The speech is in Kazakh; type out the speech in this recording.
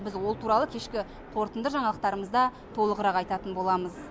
біз ол туралы кешкі қорытынды жаңалықтарымызда толығырақ айтатын боламыз